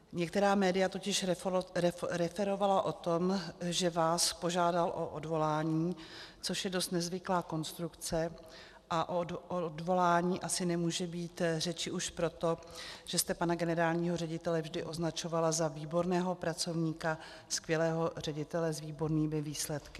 Některá média totiž referovala o tom, že vás požádal o odvolání, což je dost nezvyklá konstrukce, a o odvolání asi nemůže být řeči už proto, že jste pana generálního ředitele vždy označovala za výborného pracovníka, skvělého ředitele s výbornými výsledky.